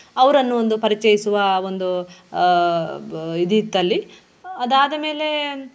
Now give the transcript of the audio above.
ಅವರನ್ನು ಒಂದು ಪರಿಚಯಿಸುವ ಒಂದು ಆಹ್ ಬ~ ಇದ್ ಇತ್ತಲ್ಲಿ ಅದಾದ ಮೇಲೆ.